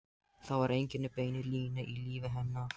Það var engin bein lína í lífi hennar.